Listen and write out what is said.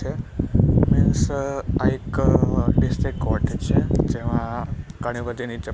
છે મીન્સ આ એક ડિસ્ટ્રિક્ટ કોર્ટેજ છે જેમાં ઘણી બધી નીચે--